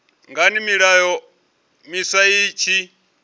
ngani milayo miswa i tshi